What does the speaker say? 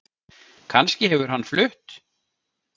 Kannski hefur hann flutt